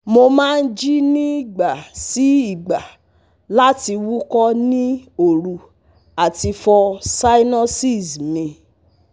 Mo man ji nigba si igba lati wuko ni oru ati fo sinuses mi